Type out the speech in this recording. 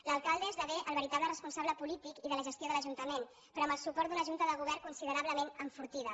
l’alcalde esdevé el veritable responsable polític i de la gestió de l’ajuntament però amb el suport d’una junta de govern considerablement enfortida